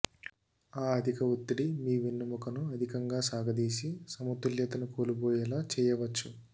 ఆ అధికఒత్తిడి మీ వెన్నెముకను అదికంగా సాగదీసి సమతుల్యతను కోల్పోయేలా చేయవచ్చు